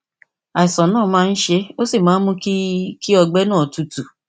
àìsàn náà máa ń ṣe é ó sì máa ń mú kí kí ọgbẹ náà tútù